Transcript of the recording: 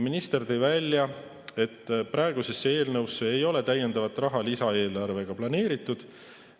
Minister tõi välja, et eelnõusse ei ole täiendavat raha lisaeelarvega planeeritud.